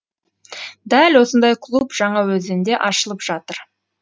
дәл осындай клуб жаңаөзенде ашылып жатыр